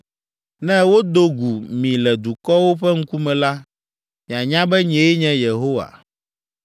Ne wodo gu mi le dukɔwo ƒe ŋkume la, mianya be nyee nye Yehowa.’ ”